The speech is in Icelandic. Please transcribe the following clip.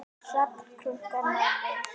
Hrafn krunkar nærri.